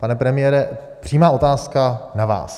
Pane premiére, přímá otázka na vás.